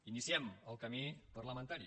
iniciem el camí parlamentari